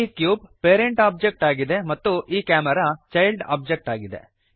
ಈ cube parent object ಆಗಿದೆ ಮತ್ತು ಈ ಕ್ಯಾಮೆರಾ ಚೈಲ್ಡ್ ಓಬ್ಜೆಕ್ಟ್ ಆಗಿದೆ